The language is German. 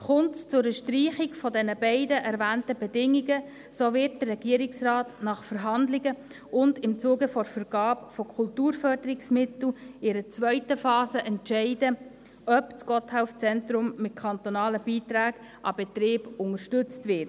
Kommt es zu einer Streichung der beiden erwähnten Bedingungen, wird der Regierungsrat nach Verhandlungen und im Zuge der Vergabe von Kulturförderungsmitteln in einer zweiten Phase entscheiden, ob das Gotthelf-Zentrum mit kantonalen Beiträgen an den Betrieb unterstützt wird.